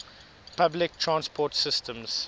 public transport systems